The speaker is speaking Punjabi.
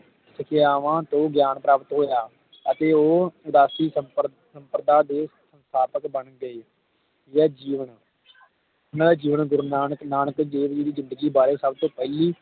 ਸਿਖਾਯਾਵਾਂ ਤੋਂ ਗਈਆਂ ਪ੍ਰਾਪਤ ਅਤੇ ਉਹ ਉਦਾਸੀ ਸੰਪਰ ਸੰਪਰਦਾ ਦੇ ਗਾਯਾਤਕ ਬਣ ਗਏ ਜੀਵਨ ਓਹਨਾ ਦਾ ਜੀਵਨ ਗੁਰੂ ਨਾਨਕ ਦੇਵ ਜੀ ਦੇ ਬਾਰੇ ਸਭ ਤੋਂ ਪਹਿਲੀ